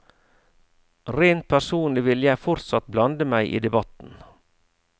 Rent personlig vil jeg fortsatt blande meg i debatten.